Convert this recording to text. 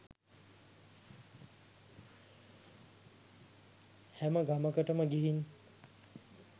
හැම ගමකටම ගිහින්